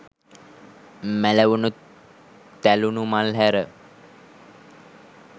මැලවුණු, තැළුණු මල් හැර